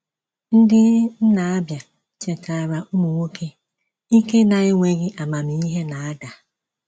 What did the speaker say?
Ndiị nna Abia chetaara ụmụ nwoke, “Ike na-enweghị amamihe na-ada.”